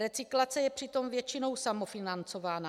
Recyklace je přitom většinou samofinancována.